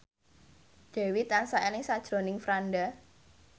Dewi tansah eling sakjroning Franda